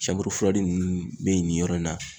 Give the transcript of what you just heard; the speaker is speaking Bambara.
nunnu be nin yɔrɔ in na